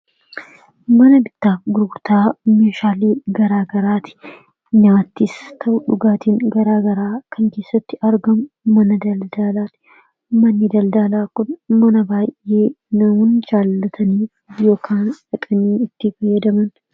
Mana bittaa fi gurgurtaa meeshaalee garaagaraat. Nyaatis ta'u dhugaatiin garaagaraa kan keessatti argamu mana daldalaati. Manni daldalaa kun mana baay'ee namoonni jaallatan yookaan itti fayyadamanidha.